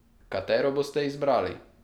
Katero boste izbrali?